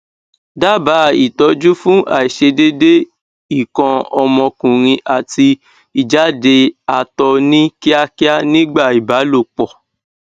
daba itọju fun aisedede ikan omokunrin ati ijade ato ni kiakia nigba ibalopo